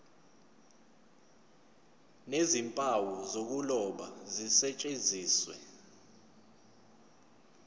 nezimpawu zokuloba zisetshenziswe